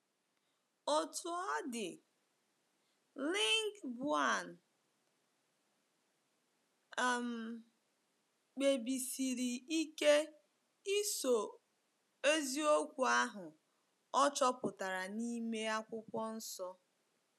Otú ọ dị, Lingbaoan um kpebisiri ike ịso eziokwu ahụ ọ chọpụtara n’ime Akwụkwọ Nsọ.